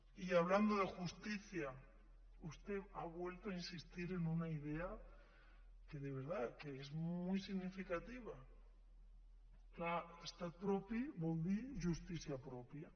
y hablando de justicia usted ha vuelto a insistir en una idea que de verdad que es muy significativa és clar estat propi vol dir justícia pròpia